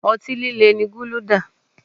Ọtí líle ni guluda